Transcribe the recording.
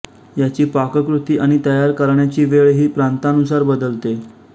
याची पाककृती आणि तयार करण्याची वेळ ही प्रांतानुसार बदलते